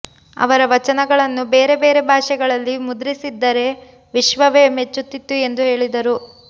ಅವರ ವಚನಗಳನ್ನು ಬೇರೆ ಬೇರೆ ಭಾಷೆಗಳಲ್ಲಿ ಮುದ್ರಿಸಿದ್ದರೆ ವಿಶ್ವವೇ ಮೆಚ್ಚುತ್ತಿತ್ತು ಎಂದು ಹೇಳಿದರು